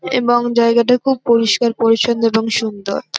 এবং জায়গা টা খুব পরিস্কার পরিছন্ন এবং সুন্দর।